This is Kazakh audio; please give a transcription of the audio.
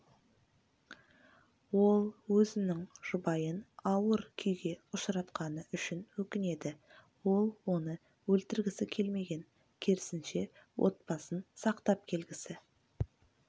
ол өзінің жұбайын ауыр күйге ұшыратқаны үшін өкінеді ол оны өлтіргісі келмеген керісінше отбасын сақтап келгісі